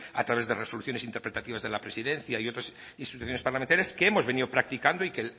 a través de resoluciones interpretativas de la presidencia y otras instituciones parlamentarias que hemos venido practicando y que